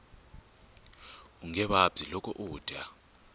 unge vabyi loko u dya